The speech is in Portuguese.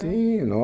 Sim,